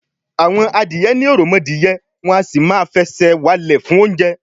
àwọn adìyẹ ní òròmọdìyẹ, wọn à sì máa fẹsẹ̀ walẹ̀ fún oúnjẹ